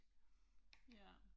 Ja